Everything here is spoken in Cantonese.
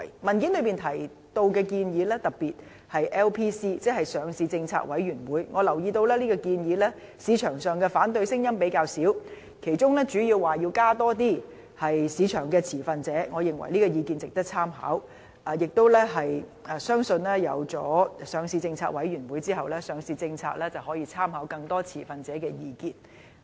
文件提到的建議，特別是 LPC， 即上市政策委員會，我留意到市場上對這項建議的反對聲音較少，其中主要便是提出要加入更多市場持份者，我認為這項意見值得參考，相信當成立上市政策委員會後，上市政策就可以參考更多持份者的意見。